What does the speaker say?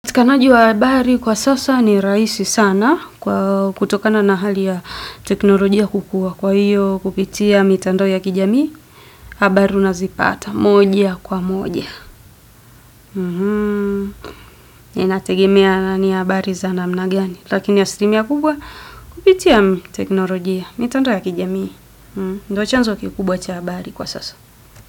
Upatikanaji wa habari kwa sasa ni rahisi sana kutokana na hali ya teknolojia kukua kwa hiyo kupitia mitandao ya kijamii, habari unazipata moja kwa moja. Nainategemea ni habari zana mnagani, lakini asilimia kubwa kupitia mitandao ya kijamii, ndo chanzo kikubwa cha habari kwa sasa.